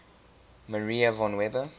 maria von weber